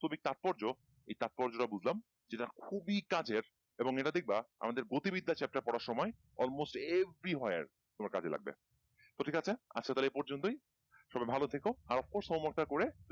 বাস্তবিক তাৎপর্য এই তাৎপর্য টা বুঝলাম যেটার খুবই কাজের এবং এটা দেখবা আমাদের গতি বৃদ্ধা চেপ্টার পড়ার সময় all most everywhere তোমার কাজে লাগবে তো ঠিক আছে আজকে তাহলে এই পর্যন্তুই সবাই ভালো থেকো আরো পরে